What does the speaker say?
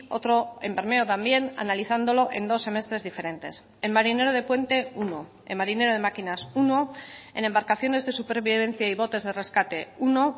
otro en bermeo también analizándolo en dos semestres diferentes en marinero de puente uno en marinero de máquinas uno en embarcaciones de supervivencia y botes de rescate uno